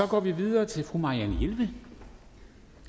går videre til fru marianne jelved